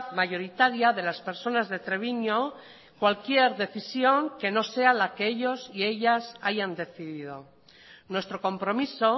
mayoritaria de las personas de treviño cualquier decisión que no sea la que ellos y ellas hayan decidido nuestro compromiso